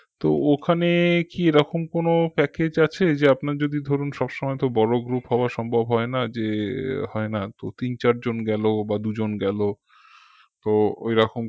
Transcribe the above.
তো ওখানে কি এরকম কোনো package আছে যে আপনার যদি ধরুন সবসময় তো বড় group হওয়া সম্ভব হয় না যে হয়না তো তিন চার জন গেলো বা দুজন গেলো তো ঐরকম